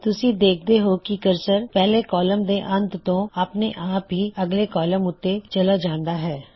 ਤੁਸੀ ਦੇਖਦੇ ਹੋਂ ਕੀ ਕਰਸਰ ਪਹਿਲੇ ਕੌਲਮ ਦੇ ਅੰਤ ਤੋਂ ਆਪਣੇ ਆਪ ਹੀ ਅਗਲੇ ਕੌਲਮ ਉੱਤੇ ਚਲੇ ਜਾਂਦਾ ਹੈ